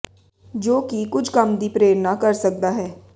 ਜੋ ਕਿ ਕੁਝ ਕੰਮ ਦੀ ਪ੍ਰੇਰਨਾ ਕਰ ਸਕਦਾ ਹੈ ਹੈ